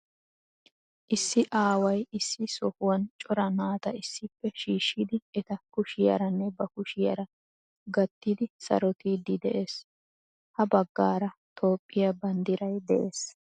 Issi aaway issi sohuwan cora naata issippe shiishshidi eta kushiyaaranne ba kushiyaara gattidi sarottiidi de'ees. Ha baggaara Toophphiya banddiray de'ees.